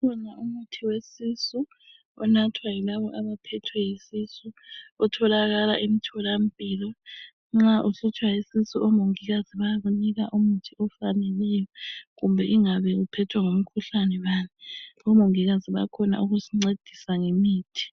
Kukhona umuthi wesisu onathwa yilabo abaphethwe yisisu .Otholakala emtholampilo nxa uhlutshwa yisisu. Omongikazi bayakunika umuthi ofaneleyo kumbe ingabe uphethwe ngumkhuhlane bani omongikazi bayakhona ukusincedisa ngemithi.